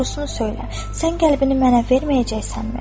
Doğrusunu söylə, sən qəlbini mənə verməyəcəksənmi?